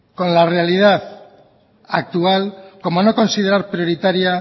con la realidad actual como no considerar prioritaria